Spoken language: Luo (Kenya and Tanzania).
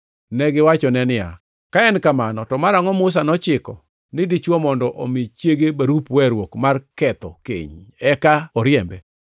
Negiwachone niya, “Ka en kamano to marangʼo Musa nochiko ni dichwo mondo omi chiege barup weruok mar ketho keny eka oriembe?”